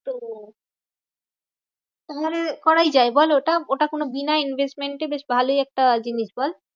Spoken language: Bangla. তো করাই যায় বল ওটা? ওটা কোনো বিনা investment এ বেশ ভালোই একটা জিনিস বল?